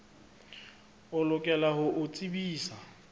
o lokela ho o tsebisa